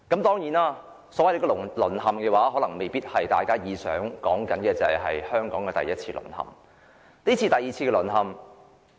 當然，所謂"淪陷"未必是大家所說的第一次淪陷，現時是第二次淪陷。